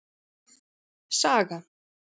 Saga